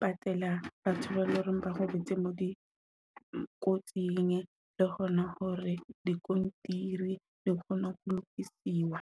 patela batho ba e loreng ba robetse moo dikotsing le hona hore diskontiri di kgone ho lokisiwa.